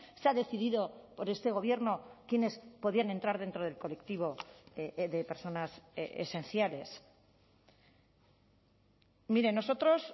se ha decidido por este gobierno quienes podían entrar dentro del colectivo de personas esenciales mire nosotros